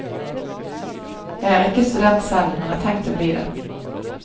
Jeg er ikke student selv, men har tenkt å bli det.